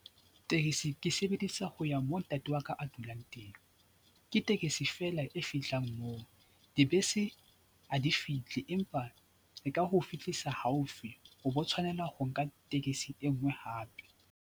Tekesi ke sebedisa ho ya mo ntate wa ka a dulang teng. Ke tekesi feela e fihlang moo, dibese ha di fihle empa e ka o fitlisa haufi o bo tshwanela ho nka tekesi e nngwe hape.